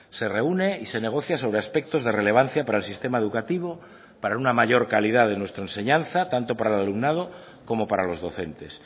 se reúne y se negocia sobre aspectos de relevancia para el sistema educativo para una mayor calidad de nuestra enseñanza tanto para el alumnado como para los docentes